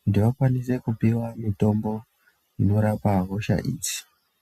kuti vakwanise kupiwa mitombo inorapa hosha idzi.